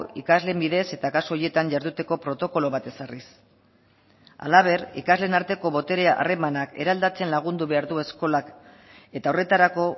ikasleen bidez eta kasu horietan jarduteko protokolo bat ezarriz halaber ikasleen arteko botere harremanak eraldatzen lagundu behar du eskolak eta horretarako